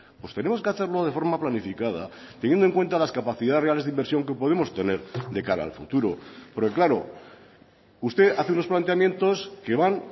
pues tenemos que hacerlo de forma planificada teniendo en cuenta las capacidades reales de inversión que podemos tener de cara al futuro porque claro usted hace unos planteamientos que van